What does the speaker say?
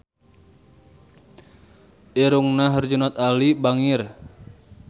Irungna Herjunot Ali bangir